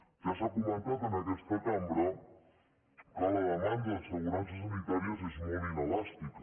ja s’ha comentat en aquesta cambra que la demanda d’assegurances sanitàries és molt inelàstica